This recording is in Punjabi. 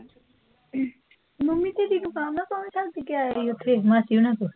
ਮੰਮੀ ਤੇਰੀ ਨੂੰ ਦੱਸ ਕੇ ਆਇਆ ਸੀ ਓਥੇ, ਮਾਸੀ ਹੋਣਾ ਕੋਲ?